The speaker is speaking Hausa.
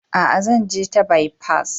Aa, zan je ta bipas.